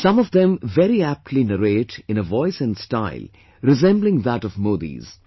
Some of them very aptly narrate in a voice and style resembling that of Modi's